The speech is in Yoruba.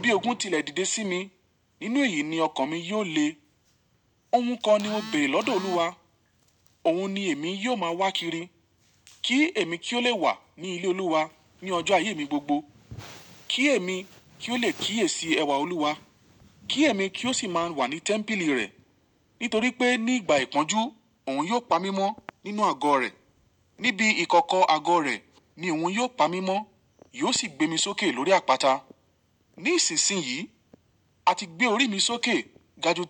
Bí ogun tilẹ̀ dìde sí mi. Nínú èyí ni ọkàn mi yóò le. Ohun kan ni mo bère lọ́dọ̀ Olúwa. Òun ni èmi yóò máa wá kiri. Kí èmi kí ó le wà ní ilé Olúwa ní ọjọ́ ayé mi gbogbo. Kí èmi kí ó le kíyèsi ẹwà Olúwa. Kí èmi kí ó sì máa wà ní tẹ́ḿpìlì rẹ̀. Nítorí pé ní ìgbà ìpọ́njú, òun yóò pa mí mọ́ nínú àgọ́ rẹ̀. Níbi ìkọkọ àgọ́ rẹ̀ ni òun yóò pa mí mọ́. Yóò sì gbé mi sókè lórí àpáta. Nísinsìnyí a ti gbé orí mi sókè ga ju tẹ́lẹ̀ lọ.